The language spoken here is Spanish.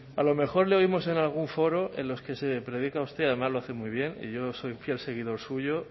a lo mejor le oímos en algún foro en los que se predica usted y además lo hace muy bien y yo soy fiel seguidor suyo